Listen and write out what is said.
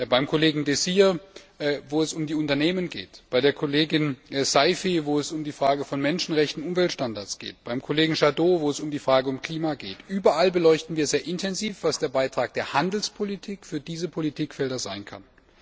Beim Kollegen Désir, wo es um die Unternehmen, bei der Kollegin Saïfi, wo es um die Frage von Menschenrechten und Umweltstandards geht, beim Kollegen Jadot, wo es um die Frage Klima geht überall beleuchten wir sehr intensiv, was der Beitrag der Handelspolitik für diese Politikfelder sein kann.